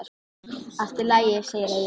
Allt í lagi, segir Egill.